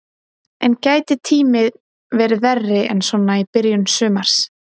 En gæti tíminn verið verri en svona í byrjun sumars?